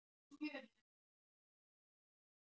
Grímhildur, spilaðu lagið „Við vatnið“.